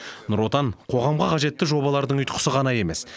нұр отан қоғамға қажетті жобалардың ұйытқысы ғана емес